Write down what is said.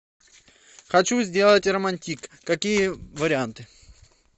хочу сделать романтик какие варианты